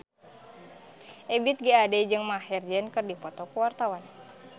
Ebith G. Ade jeung Maher Zein keur dipoto ku wartawan